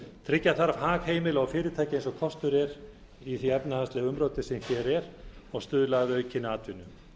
tryggja þarf hag heimila og fyrirtækja eins og kostur er í því efnahagslega umróti sem hér er og stuðla að aukinni atvinnu